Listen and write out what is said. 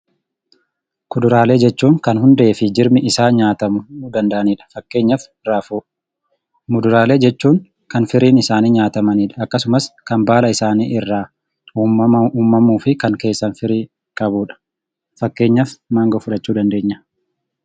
Kuduraalee jechuun kan hundee fi jirmi isaa nyaatamuu danda'anidha fakkeenyaaf raafuu. Muduraalee jechuun kan firiin isaanii nyaatamanidha akkasumas kan baala isaanii irraa uumamaan uumamauu fi kan keessaan firii qabudha fakkeenyaaf mangoo fudhachuu dandeenya.